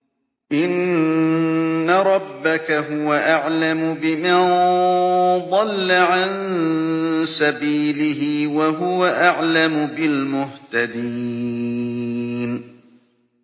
إِنَّ رَبَّكَ هُوَ أَعْلَمُ بِمَن ضَلَّ عَن سَبِيلِهِ وَهُوَ أَعْلَمُ بِالْمُهْتَدِينَ